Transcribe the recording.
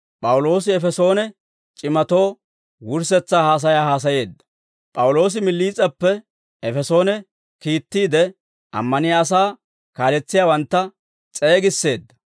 P'awuloosi Miliis'eppe Efesoone kiittiide, ammaniyaa asaa kaaletsiyaawantta s'eegisseedda.